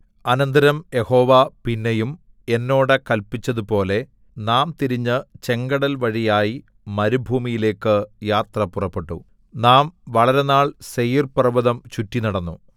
അനന്തരം യഹോവ പിന്നെയും എന്നോട് കല്പിച്ചതുപോലെ നാം തിരിഞ്ഞ് ചെങ്കടൽവഴിയായി മരുഭൂമിയിലേക്ക് യാത്ര പുറപ്പെട്ടു നാം വളരെനാൾ സേയീർപർവ്വതം ചുറ്റിനടന്നു